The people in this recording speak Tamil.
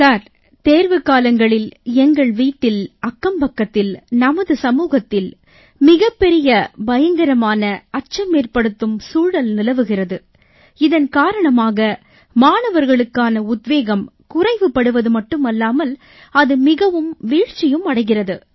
ஐயா தேர்வுக் காலங்களில் எங்கள் வீட்டில் அக்கம்பக்கத்தில் நமது சமூகத்தில் மிகப் பெரிய பயங்கரமான அச்சமேற்படுத்தும் சூழல் நிலவுகிறது இதன் காரணமாக மாணவர்களுக்கான உத்வேகம் குறைவுபடுவது மட்டுமல்லாமல் அது மிகவும் வீழ்ச்சியும் அடைகிறது